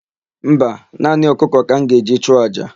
Mba, naanị ọkụkọ ka m ga-eji chụọ àjà.